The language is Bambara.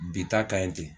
Bi ta ka ɲi ten